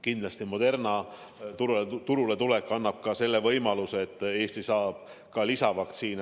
Kindlasti Moderna vaktsiini turule tulek annab võimaluse, et Eesti saab ka lisavaktsiini.